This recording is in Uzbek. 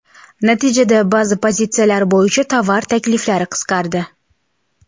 Natijada, ba’zi pozitsiyalar bo‘yicha tovar takliflari qisqardi.